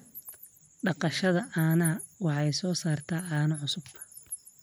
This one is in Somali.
Dhaqashada caanaha waxay soo saartaa caano cusub.